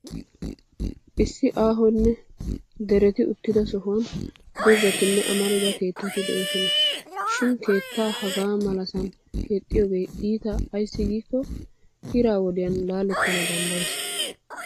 Issi aahonne dereti uttidaa sohuwan doozzatinne amarida keettati doosona. Shin keettaa hagaa malasan keexxiyoogee iita ayssi giikko ira wodiya laaletana danddayes.